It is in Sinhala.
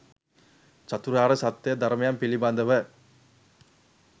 චතුරාර්ය සත්‍ය ධර්මයන් පිළිබඳව